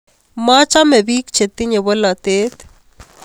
Machame biik chetinye bolatet